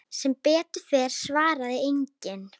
Sem betur fer svarar enginn.